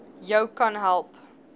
jou kan help